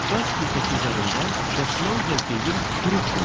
Qaz plitəsi üzərində dəsmal və geyim qurutmayın.